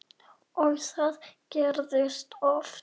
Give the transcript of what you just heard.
Og það gerðist oft.